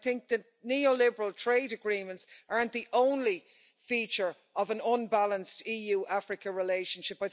I think that neoliberal trade agreements aren't the only feature of an unbalanced EU Africa relationship.